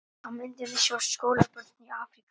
Á myndinni sjást skólabörn í Afríku.